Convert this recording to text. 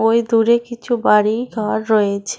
ভেতরে কিছু বাড়ি ঘর রয়েছে।